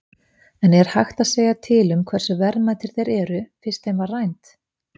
En er hægt að segja til um hversu verðmætir þeir eru, fyrst þeim var rænt?